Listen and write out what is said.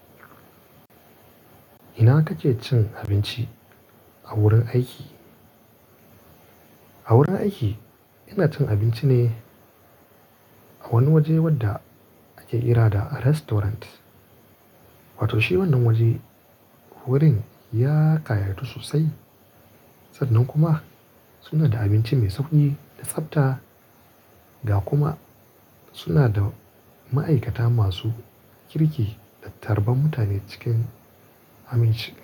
Ina kake cin abinci a wurin aiki? A wurin aiki ina cin abinci ne a wani waje wadda ake kira da restaurant. Wato shi wannan wajen wurin ya kayatu sosai. Sannan kuma suna da abinci mai sauƙi da tsabta da kuma suna da ma'aikata masu kirki da tarban mutane cikin aminci.